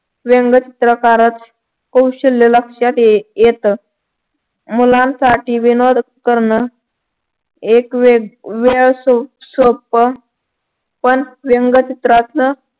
व्यंगचित्र काराच कौशल्य लक्षात येत. मुलांसाठी विनोद करण एक वेळ असतो सोप्प पण व्यंगचित्राच